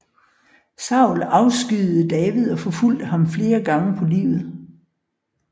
Saul afskyede David og forfulgte ham flere gange på livet